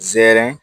Zɛrɛn